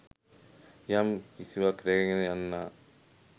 යම් කිසිවක් රැගෙන යන්නා.